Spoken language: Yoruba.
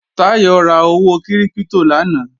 Táyọ̀ ra owó kírípítò lánàá